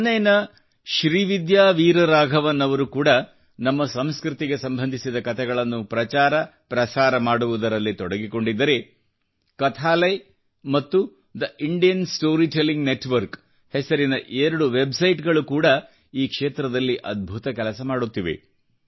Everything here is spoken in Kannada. ಚೆನ್ನೈನ ಶ್ರೀವಿದ್ಯಾ ವೀರ ರಾಘವನ್ ಅವರು ಕೂಡಾ ನಮ್ಮ ಸಂಸ್ಕೃತಿಗೆ ಸಂಬಂಧಿಸಿದ ಕತೆಗಳನ್ನು ಪ್ರಚಾರ ಪ್ರಸಾರ ಮಾಡುವುದರಲ್ಲಿ ತೊಡಗಿಕೊಂಡಿದ್ದರೆ ಕಥಾಲಯ್ ಮತ್ತು the Indian story telling network ಹೆಸರಿನ ಎರಡು ವೆಬ್ಸೈಟ್ ಗಳು ಕೂಡಾ ಈ ಕ್ಷೇತ್ರದಲ್ಲಿ ಅದ್ಭುತ ಕೆಲಸ ಮಾಡುತ್ತಿವೆ